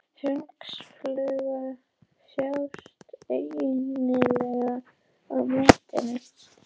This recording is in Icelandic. Hunangsflugur sjást einnig líklega á myndinni.